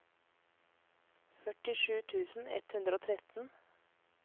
førtisju tusen ett hundre og tretten